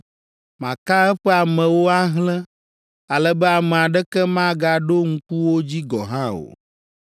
Maka eƒe amewo ahlẽ ale be ame aɖeke magaɖo ŋku wo dzi gɔ̃ hã o.